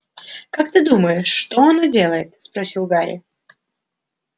как ты думаешь что оно делает спросил гарри